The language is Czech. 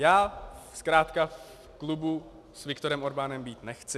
Já zkrátka v klubu s Viktorem Orbánem být nechci.